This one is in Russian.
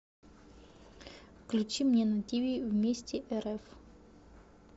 включи мне на тиви вместе рф